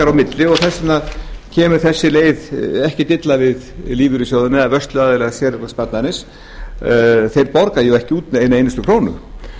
á milli og og þess vegna kemur þessi leið ekkert illa við lífeyrissjóðina eða vörsluaðila séreignarsparnaðar þeir borga ekki út eina einustu krónu